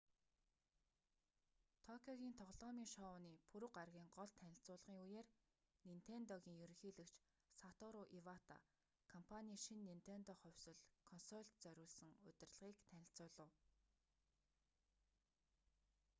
токиогийн тоглоомын шоуны пүрэв гарагийн гол танилцуулгын үеэр нинтендогийн ерөнхийлөгч сатору ивата компаний шинэ нинтендо хувьсал консольд зориулсан удирдлагыг танилцуулав